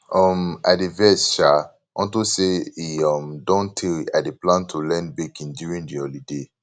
um i dey vex um unto say e um don tey i dey plan to learn baking during the holiday